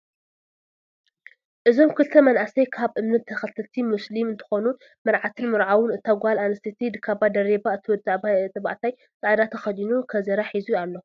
እዞም ክልተ መናእሰይ ካብ እምነት ተከተልቲ ሞስሊም እንትኮኑ መርዓትን መርዓው እታ ጓል ኣስተይቲ ካባ ደረባ እቲ ወዲተባዕታይ ፃዕዳ ተከዲኑ ከዘራ ሒዙ ኣሎ።